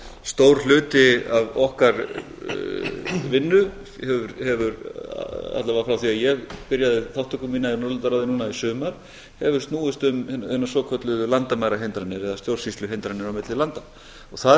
stór hluti af okkar vinnu alla vega þá þegar ég byrjaði þátttöku mína í norðurlandaráði núna í sumar hefur snúist um hinar svokölluðu landamærahindranir eða stjórnsýsluhindranir á milli landa það er